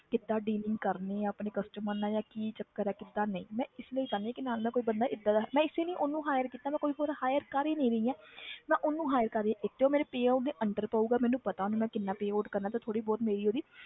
ਕਿੱਦਾਂ dealing ਕਰਨੀ ਆਂ ਆਪਣੇ customer ਨਾਲ ਜਾਂ ਕੀ ਚੱਕਰ ਹੈ ਕਿੱਦਾਂ ਨਹੀਂ ਮੈਂ ਇਸ ਲਈ ਚਾਹੁੰਦੀ ਹਾਂ ਕਿ ਨਾਲ ਦਾ ਕੋਈ ਬੰਦਾ ਏਦਾਂ ਦਾ ਮੈਂ ਇਸੇ ਲਈ ਉਹਨੂੰ hire ਕੀਤਾ ਮੈਂ ਕੋਈ ਹੋਰ hire ਕਰ ਹੀ ਨੀ ਰਹੀ ਹਾਂ ਮੈਂ ਉਹਨੂੰ hire ਕਰ ਰਹੀ ਹਾਂ ਜੋ payout ਦੇ under ਪਊਗਾ ਮੈਨੂੰ ਪਤਾ ਉਹਨੂੰ ਮੈਂ ਕਿੰਨਾ payout ਕਰਨਾ ਤੇ ਥੋੜ੍ਹੀ ਬਹੁਤੀ ਮੇਰੀ ਉਹਦੀ।